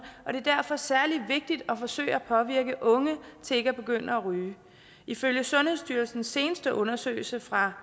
og det er derfor særlig vigtigt at forsøge at påvirke unge til ikke at begynde at ryge ifølge sundhedsstyrelsens seneste undersøgelse fra